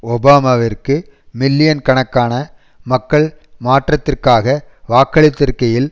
ஒபாமாவிற்கு million கணக்கான மக்கள் மாற்றத்திற்காக வாக்களித்திருக்கையில்